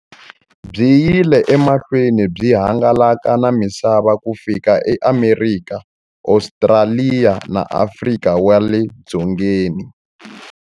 Byi yile emahlweni byi hangalaka na misava ku fika eAmerika, Ostraliya na Afrika wale dzongeni.